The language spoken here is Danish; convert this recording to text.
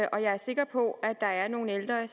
og jeg er sikker på at der er nogle ældre